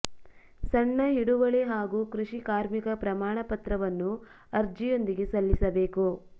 ಸಣ್ಣ ಹಿಡುವಳಿ ಹಾಗೂ ಕೃಷಿ ಕಾರ್ಮಿಕ ಪ್ರಮಾಣ ಪತ್ರವನ್ನು ಅರ್ಜಿಯೊಂದಿಗೆ ಸಲ್ಲಿಸಬೇಕು